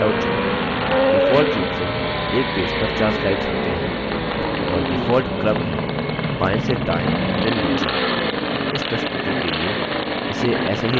default रुप से एक पेज पर 4 slides होते हैं और default क्रम है बाएं से दाएं फिर नीचे इस प्रस्तुति के लिए इसे ऐसे ही रखें